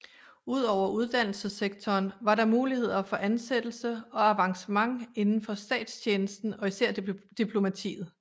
Ud over uddannelsessektoren var der muligheder for ansættelse og avancement inden for statstjenesten og især diplomatiet